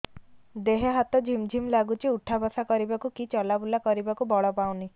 ଦେହେ ହାତ ଝିମ୍ ଝିମ୍ ଲାଗୁଚି ଉଠା ବସା କରିବାକୁ କି ଚଲା ବୁଲା କରିବାକୁ ବଳ ପାଉନି